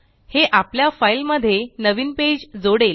हे आपल्या फाइल मध्ये नवीन पेज जोडेल